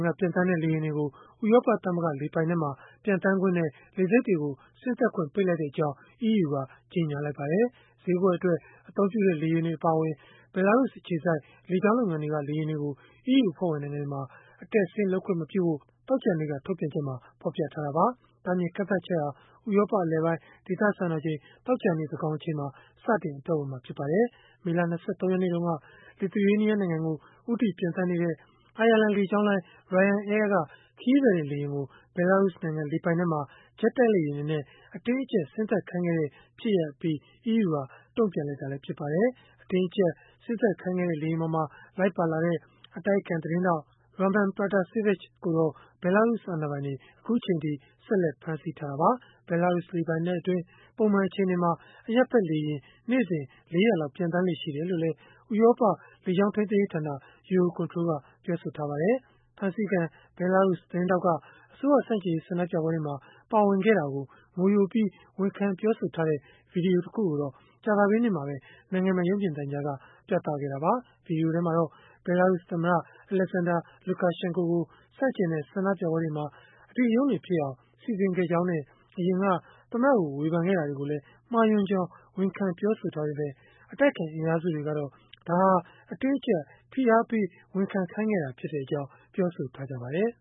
က ပျံသန်းတဲ့ လေယာဉ်တွေကို ဥရောပသမဂ္ဂ လေပိုင်နက်မှာ ပျံသန်းခွင့်နဲ့ လေဆိပ်တွေကို ဆင်းသက်ခွင့် ပိတ်လိုက်ကြောင်း EU က ကြေညာလိုက်ပါတယ်။ ဈေးကွက်အတွက် အသုံးပြုတဲ့ လေယာဉ်တွေ အပါအဝင် ဘဲလာရုစ် အခြေစိုက် လေကြောင်းလုပ်ငန်းတွေက လေယာဉ်တွေကို EU အဖွဲ့ဝင် နိုင်ငံတွေမှာ အတက်အဆင်း လုပ်ခွင့်မပြုဖို့ သောကြာနေ့ ထုတ်ပြန်ချက်မှာ ဖော်ပြထားတာပါ။ တားမြစ်ကန့်သတ်ချက်ဟာ ဥရောပအလယ်ပိုင်း ဒေသစံတော်ချိန် သောကြာနေ့ သန်းခေါင်အချိန်မှာ စတင်အသက်ဝင်မှာ ဖြစ်ပါတယ်။ မေလ ၂၃ ရက်နေ့တုန်းက Lithuainia နိုင်ငံကို ဦးတည်ပျံသန်းနေတဲ့ အိုင်ယာလန်လေကြောင်းလိုင်း Ryanair က ခရီးသည်တင် လေယာဉ်ကို ဘဲလာရုစ်နိုင်ငံ လေပိုင်နက်မှာ ဂျက်တိုက်လေယာဉ်တွေနဲ့ အတင်းအကျပ် ဆင်းသက်ခိုင်းခဲ့တဲ့ ဖြစ်ရပ်အပြီး EU က တုံ့ပြန်လိုက်တာလည်း ဖြစ်ပါတယ်။ အတင်းအကျပ် ဆင်းသက်ခိုင်းခဲ့တဲ့ လေယာဉ်ပေါ်မှာ လိုက်ပါလာတဲ့ အတိုက်အခံ သတင်းထောက် Raman Pratasevich ကိုတော့ ဘဲလာရုစ်အာဏာပိုင်တွေက အခုအချိန်အထိ ဆက်လက် ဖမ်းဆီးထားတာပါ။ ဘဲလာရုစ် လေပိုင်နက်အတွင်း ပုံမှန်အချိန်တွေမှာ အရပ်ဖက် လေယာဉ် ၄၀၀ လောက် ပျံသန်းလေ့ ရှိတယ်လို့လည်း ဥရောပလေကြောင်း ထိန်းသိမ်းရေးဌာန Eurocontrol ကပြောပါတယ်။ ဖမ်းဆီးခံ ဘဲလာရုစ် သတင်းထောက်က အစိုးရဆန့်ကျင်ရေး ဆန္ဒပြပွဲတွေမှာ ပါဝင်ခဲ့တာကို ငိုယိုပြီး ဝန်ခံပြောဆိုထားတဲ့ ဗွီဒီယိုတခုကိုတော့ ကြာသပတေးနေ့မှာပဲ နိုင်ငံပိုင် ရုပ်မြင်သံကြားက ပြသခဲ့တာပါ။ ဗွီဒီယိုထဲမှာတော့ ဘဲလာရုစ် သမ္မတ Alexander Lukashenko ကို ဆန့်ကျင်တဲ့ ဆန္ဒပြပွဲတွေမှာ အဓိကရုဏ်းတွေဖြစ်အောင် စီစဉ်ခဲ့ကြောင်းနဲ့ အရင်က သမ္မတကို ဝေဖန်ခဲ့တာတွေကိုလည်း မှားယွင်းကြောင်း ဝန်ခံပြောဆိုထားပေမဲ့ အတိုက်အခံ အင်အားစုတွေကတော့ အတင်းအကျပ် ဖိအားပေး ဝန်ခံခိုင်းခဲ့တာ ဖြစ်ကြောင်း ပြောဆိုထားကြပါတယ်